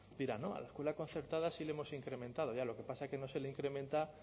dirá no a la escuela concertada sí le hemos incrementado ya lo que pasa es que no se le incrementa